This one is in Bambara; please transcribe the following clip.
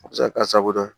A bɛ se ka kɛ a sago ye